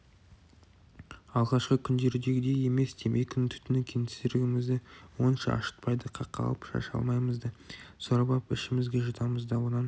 алғашқы күндердегідей емес темекінің түтіні кеңсірігімізді онша ашытпайды қақалып-шашалмаймыз да сорып ап ішімізге жұтамыз да онан